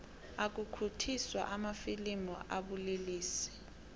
ukukhukhuthiswa kwamafilimu kubulelesi